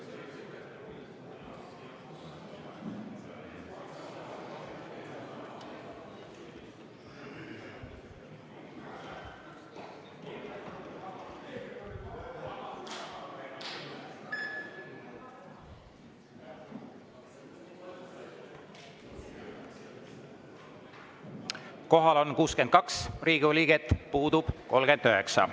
Kohal on 62 Riigikogu liiget, puudub 39.